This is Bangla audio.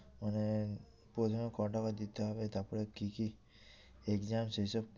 মানে প্রশ্ন দিতে হবে তারপরে কি কি exam সেই সব